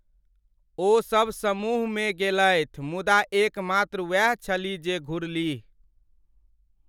ओसभ समूहमे गेलथि मुदा एकमात्र वैह छलीह जे घुरलीह ।